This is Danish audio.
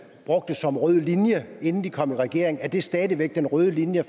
brugte som rød linje inden de kom i regering er det stadig væk den røde linje